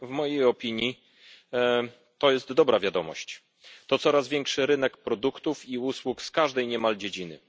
W mojej opinii to dobra wiadomość. To coraz większy rynek produktów i usług w każdej niemal dziedzinie.